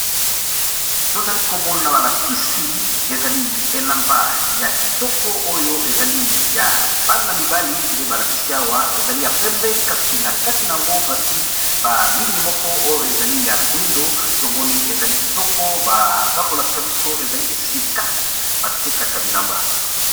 To zali ko mona ba lakisi ezali elamba ya kitoko oyo ezali ya bana mibali, nde ba lakisi awa ezali ya pembe kasi na kati n'ango, ba tié ba ligne moko oyo ezali ya moyindo, to moni ezali kitoko, baza ko lakisa biso ezali esika ba tekaka bilamba .